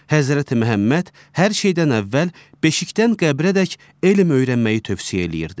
Həzrəti Məhəmməd hər şeydən əvvəl beşikdən qəbrədək elm öyrənməyi tövsiyə eləyirdi.